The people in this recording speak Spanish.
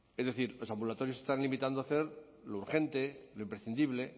es decir los ambulatorios se están limitando a hacer lo urgente lo imprescindible